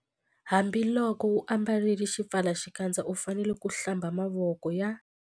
Hambiloko u ambarile xipfalaxikandza u fanele ku- Hlamba mavoko ya.